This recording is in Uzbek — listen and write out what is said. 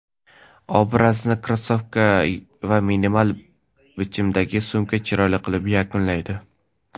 Obrazni krossovka va minimal bichimdagi sumka chiroyli qilib yakunlaydi.